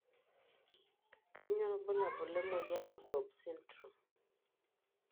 kanyio ibulabul lemoyian e Cobb syndrome?